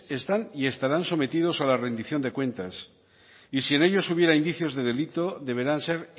están y estarán sometidos a la rendición de cuentas y si en ellos hubiera indicios de delito deberán ser